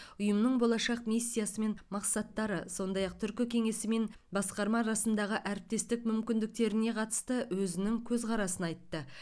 ұйымның болашақ миссиясы мен мақсаттары сондай ақ түркі кеңесі мен басқарма арасындағы әріптестік мүмкіндіктеріне қатысты өзінің көзқарасын айтты